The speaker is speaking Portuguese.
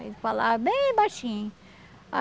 Aí ele falava bem baixinho.